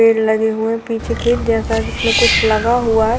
पेड़ लगे हुए हैं पीछे के जैसा जिसमे कुछ लगा हुआ है।